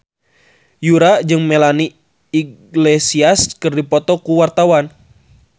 Yura jeung Melanie Iglesias keur dipoto ku wartawan